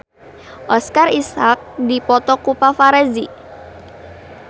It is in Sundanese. Oscar Isaac dipoto ku paparazi